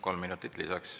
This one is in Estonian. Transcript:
Kolm minutit lisaks.